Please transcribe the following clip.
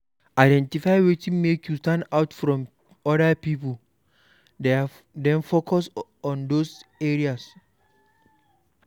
Identify wetin make you stand out from oda pipo then focus on those areas